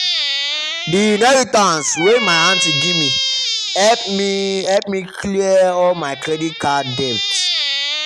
the inheritance wey my aunty give me help me help me clear all my credit card debt.